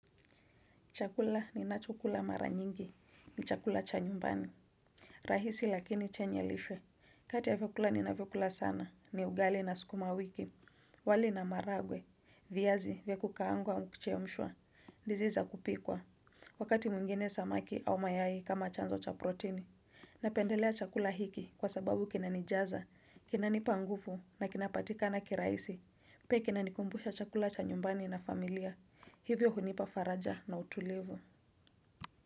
Chakula ninachokula mara nyingi, ni chakula cha nyumbani. Rahisi lakini chenye lishe. Kati ya vyukula ni na vyukula sana, ni ugali na sukuma wiki. Wali na maharagwe, viazi vya kukaangwa au kuchemshwa, ndizi za kupikwa wakati mwingine samaki au mayai kama chanzo cha protini. Napendelea chakula hiki kwa sababu kinanijaza, kinanipa nguvu na kinapatikana kirahisi. Pia kinanikumbusha chakula cha nyumbani na familia. Hivyo kunipa faraja na utulivu.